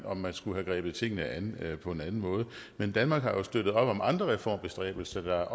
om man skulle have grebet tingene an på en anden måde men danmark har jo støttet op om andre reformbestræbelser der